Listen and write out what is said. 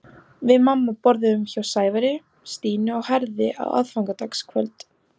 Við mamma borðuðum hjá Sævari, Stínu og Herði á aðfangadagskvöld.